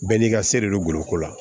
Bɛɛ n'i ka se de don goloko la